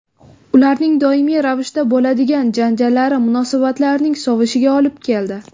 Ularning doimiy ravishda bo‘ladigan janjallari munosabatlarning sovishiga olib keldi.